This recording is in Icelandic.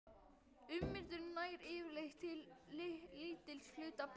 Ummyndun nær yfirleitt til lítils hluta bergs.